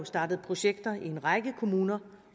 startet projekter i en række kommuner